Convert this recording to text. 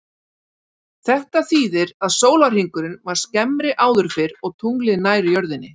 Þetta þýðir að sólarhringurinn var skemmri áður fyrr og tunglið nær jörðinni.